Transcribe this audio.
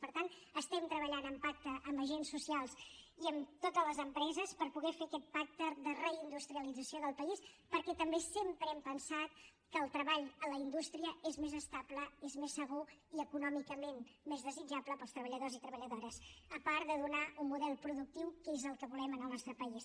per tant estem treballant en pacte amb agents socials i amb totes les empreses per poder fer aquest pacte de reindustrialització del país perquè també sempre hem pensat que el treball a la indústria és més estable és més segur i econòmicament més desitjable per als treballadors i treballadores a part de donar un model productiu que és el que volem en el nostre país